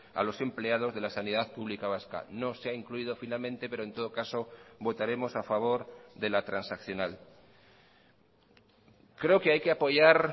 a los empleados de la sanidad pública vasca no sé ha incluido finalmente pero en todo caso votaremos a favor de la transaccional creo que hay que apoyar